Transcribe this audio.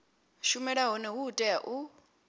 shumela hone hu tea u